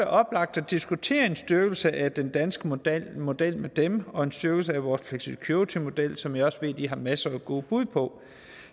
oplagt at diskutere en styrkelse af den danske model model med dem og en styrkelse af vores flexicuritymodel som jeg også ved at de har masser af gode bud på